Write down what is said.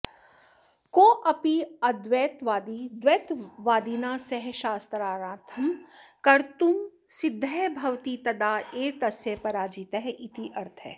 कोऽपि आद्वैतवादी द्वैतवादिना सह शास्त्रार्थं कर्तुं सिद्धः भवति तदा एव तस्य पराजितः इति अर्थः